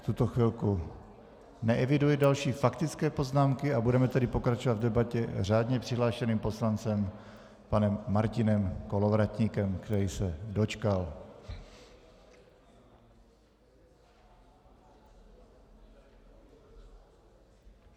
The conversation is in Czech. V tuto chvíli neeviduji další faktické poznámky a budeme tedy pokračovat v debatě řádně přihlášeným poslancem panem Martinem Kolovratníkem, který se dočkal.